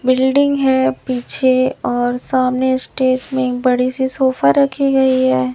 Building है पीछे और सामने स्टेज में बड़ी सी सोफा रखी गई है।